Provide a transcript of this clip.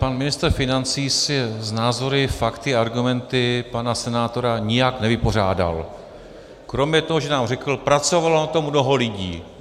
Pan ministr financí se s názory, fakty, argumenty pana senátora nijak nevypořádal, kromě toho, že nám řekl: pracovalo na tom mnoho lidí.